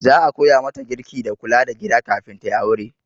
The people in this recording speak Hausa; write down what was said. Za a koya mata girki da kula da gida kafin ta yi aure.